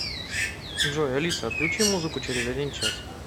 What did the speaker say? джой алиса отключи музыку через один час